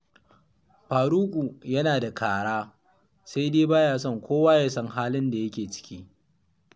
Faruku yana da kara, sai dai ba ya son kowa ya san halin da yake ciki